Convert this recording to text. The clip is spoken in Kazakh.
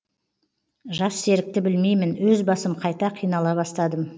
жассерікті білмеймін өз басым қайта қинала бастадым